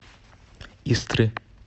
истры